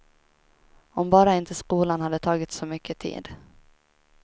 Om bara inte skolan hade tagit så mycket tid.